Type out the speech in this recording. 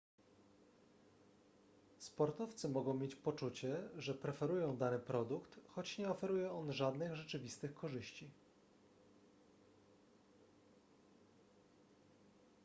sportowcy mogą mieć poczucie że preferują dany produkt choć nie oferuje on żadnych rzeczywistych korzyści